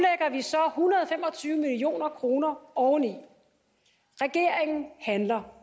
tyve million kroner oveni regeringen handler